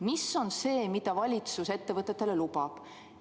Mis on see, mida valitsus ettevõtetele lubab?